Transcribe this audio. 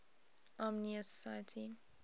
armenian society